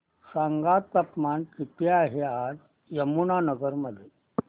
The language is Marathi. सांगा तापमान किती आहे आज यमुनानगर मध्ये